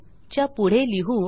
च्या पुढे लिहू